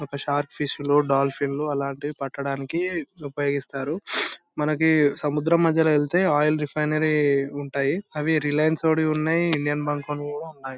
ఒక shark fish లు dolphin లు అలాంటివి పట్టడానికి ఉపయోగిస్తారు. మనకి సముద్రం మాయల వెళ్తే ఆయిల్ రిఫైనరీ ఉంటాయి. అవి రిలయన్స్ ఓనీయి ఉన్నాయి. ఇండియన్ బాంక్ ఓనీయి కూడా ఉన్నాయి.